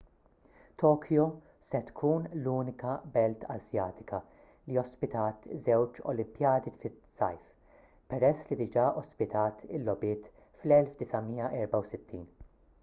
tokyo se tkun l-unika belt asjatika li ospitat żewġ olimpijadi tas-sajf peress li diġà ospitat il-logħbiet fl-1964